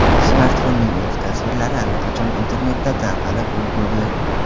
Smartfonning ilk tasvirlari allaqachon internetda tarqalib ulgurdi.